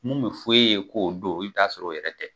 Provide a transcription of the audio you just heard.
Min bɛ fo e ye k'o don, i bɛ t'a sɔrɔ o yɛrɛ tɛ.